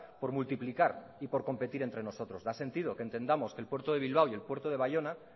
por multiplicar y competir entre nosotros da sentido que entendamos que el puerto de bilbao y el puerto de baiona